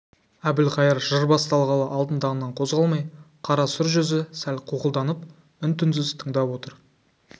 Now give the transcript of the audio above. әбілқайыр жыр басталғалы алтын тағынан қозғалмай қара сұр жүзі сәл қуқылданып үн-түнсіз тыңдап отыр